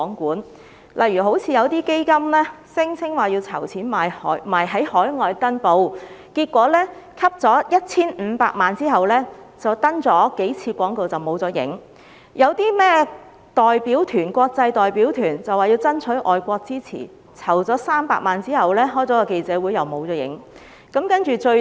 舉例來說，有些基金聲稱要籌款在海外登報，結果在籌得 1,500 萬元後，只刊登了數次廣告便失去蹤影；有些所謂的國際代表團聲稱要爭取海外支持，但籌得300萬元後卻只召開了記者會，其後同樣無影無蹤。